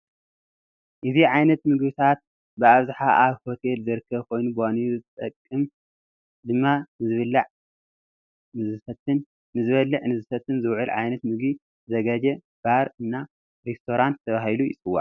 እዚ ዓይነት ምግብታት ብኣብዛሓ ኣብ ሆቴላት ዝርከብ ኮይኑ ብዋኒነት ዝጠቅም ድማ ንዝብላዕ ንዝስተን ዝውዕል ዓይነታት ምግብ ዘዛጋጁ ባር እና ሬስቶራንት ተበሂሉ ይፅዋዕ።